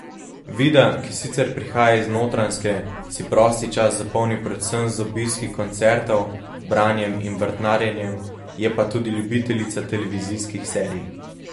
Vida, ki sicer prihaja iz Notranjske, si prosti čas zapolni predvsem z obiski koncertov, branjem in vrtnarjenjem, je pa tudi ljubiteljica televizijskih serij.